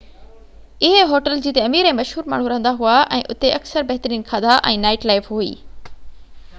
اهي هوٽل جتي امير ۽ مشهور ماڻهو رهندا هئا ۽ اتي اڪثر بهترين کاڌا ۽ نائيٽ لائيف هئي